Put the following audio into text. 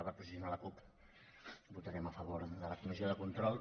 per posicionar la cup votarem a favor de la comissió de control